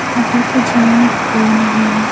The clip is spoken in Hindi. अभी तो जिम में कोई नहीं है।